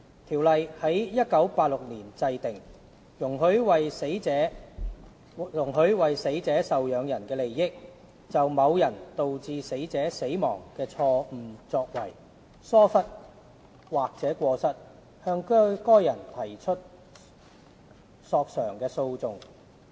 《條例》在1986年制定，容許為死者受養人的利益，就某人導致死者死亡的錯誤作為、疏忽或過失，向該人提出索償的訴訟。